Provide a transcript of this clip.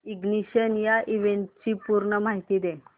ignition या इव्हेंटची पूर्ण माहिती दे